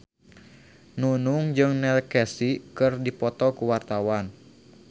Nunung jeung Neil Casey keur dipoto ku wartawan